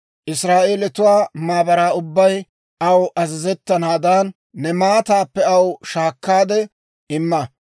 Israa'eelatuwaa maabaraa ubbay aw azazettanaadan, ne maataappe aw shaakkaade imma.